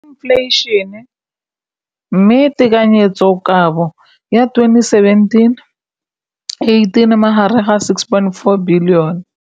Infleišene, mme tekanyetsokabo ya 2017, 18, e magareng ga R6.4 bilione.